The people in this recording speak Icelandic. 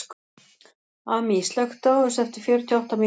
Amý, slökktu á þessu eftir fjörutíu og átta mínútur.